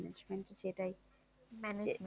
Manegement সেটাই